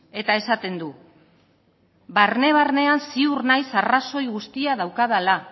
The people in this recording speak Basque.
eta esaten du barne barnean ziur naiz arrazoi guztia daukadala